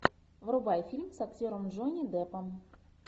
врубай фильм с актером джонни деппом